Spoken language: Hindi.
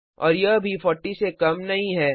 और यह भी 40 से कम नहीं है